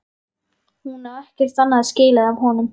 Hún á ekkert annað skilið af honum.